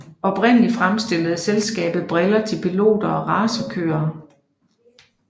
Oprindeligt fremstillede selskabet briller til piloter og racerkørere